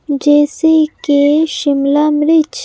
जैसे के शिमला मिर्च--